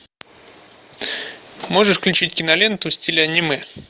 можешь включить киноленту в стиле аниме